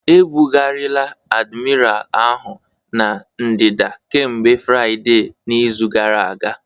Ebugharịla Admiral ahụ na ndịda kemgbe Fraịde n'izu gara aga